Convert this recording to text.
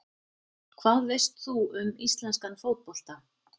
Hvað veist þú um íslenskan fótbolta?